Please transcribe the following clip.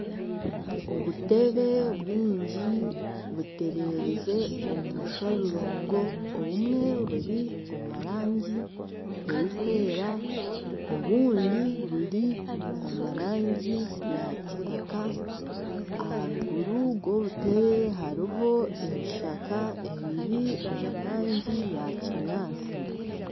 Obutebe bwingi butererize omu mushororongo obumwe buri omu rangi erikwera obundi buri omu rangi ya kitaka aharuguru rw'obutebe hariho ebishaka ebiri omu rangi ya kinyaatsi.